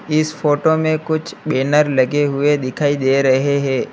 इस फोटो में कुछ बेनर लगे हुए दिखाई दे रहे है।